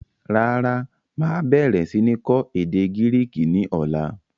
Rárá, máa bẹ̀rẹ̀ sini kọ́ èdè Gíríìkì ni ọ̀la.